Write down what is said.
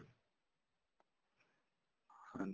ਹਾਂਜੀ